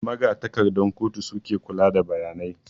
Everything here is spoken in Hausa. Magatakardan kotu suke kula da bayanai